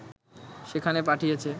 সেখানে পাঠিয়েছে